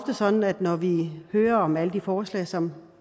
sådan at når vi hører om alle de forslag som